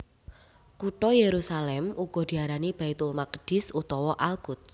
Kutha Yerusalem uga diarani Baitul Maqdis utawa Al Quds